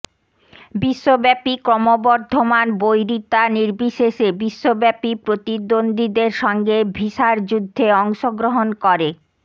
বিশ্বব্যাপী ক্রমবর্ধমান বৈরিতা নির্বিশেষে বিশ্বব্যাপী প্রতিদ্বন্দ্বীদের সঙ্গে ভিসার যুদ্ধে অংশগ্রহণ করে